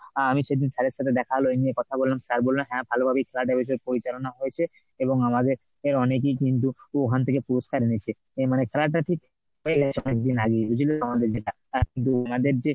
আহ আমি সেদিন sir এর সাথে দেখা হল এই নিয়ে কথা বললাম sir বলল হ্যাঁ ভালোভাবেই খেলাটা বেশ পরিচালনা হয়েছে এবং আমাদের অনেকেই কিন্তু ওখান থেকে পুরস্কার এনেছে। এ~ মানে খেলাটা ঠিক হয়ে গেছে অনেকদিন আগেই মানে বুঝলে তো আমাদের যেটা। অ্যাঁ কিন্তু ওনাদের যে